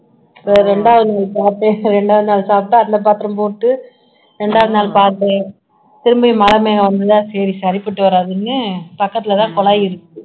இரண்டாவது நிமிஷம் இரண்டாவது நாள் சாப்பிட்டு அந்த பாத்திரம் போட்டு இரண்டாவது நாள் பார்த்து திரும்பியும் மழை பெய்ய வந்ததுல சரி சரிப்பட்டு வராதுன்னு பக்கத்துலதான் குழாய் இருக்கு